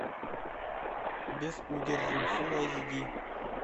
без удержу фулл эйч ди